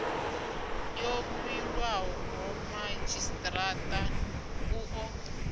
yo vhilwaho madzhisitirata u ḓo